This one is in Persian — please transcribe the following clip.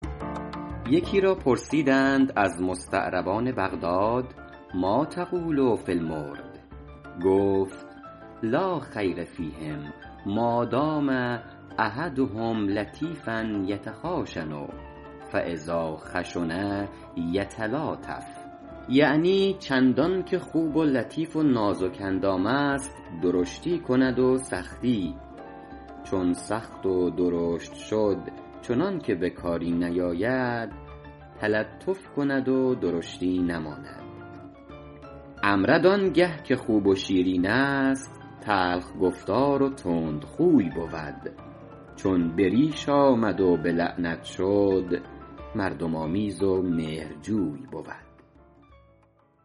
یکی را پرسیدند از مستعربان بغداد مٰا تقول فی المرد گفت لا خیر فیهم مادام احدهم لطیفا یتخاشن فاذا خشن یتلاطف یعنی چندان که خوب و لطیف و نازک اندام است درشتی کند و سختی چون سخت و درشت شد چنان که به کاری نیاید تلطف کند و درشتی نماند امرد آن گه که خوب و شیرین است تلخ گفتار و تندخوی بود چون به ریش آمد و به لعنت شد مردم آمیز و مهرجوی بود